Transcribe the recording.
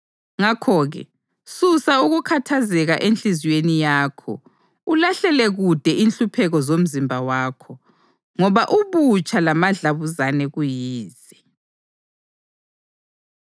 Ngakho-ke, susa ukukhathazeka enhliziyweni yakho ulahlele kude inhlupheko zomzimba wakho, ngoba ubutsha lamadlabuzane kuyize.